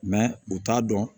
u t'a dɔn